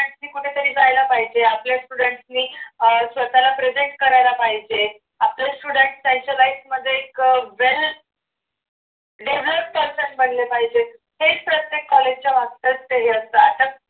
आणखी कुठेतरी जायला पाहिजे आपल्या students ने अह स्वतःला present करायला पाहिजे आपल्या student style च्या life मध्ये एक very develop person बनले पाहिजे हेच प्रत्येक college च्या मागच ध्येय असतं.